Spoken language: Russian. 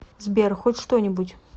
сбер хоть что нибудь